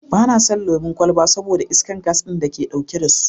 Ba na son lemon kwalba saboda iskar gas ɗin da ke ɗauke da su.